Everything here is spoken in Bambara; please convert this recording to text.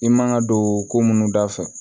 I man ka don ko munnu dafɛ